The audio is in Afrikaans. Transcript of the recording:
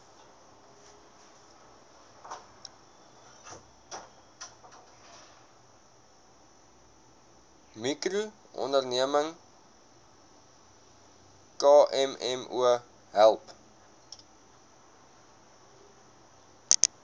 mikroonderneming kmmo help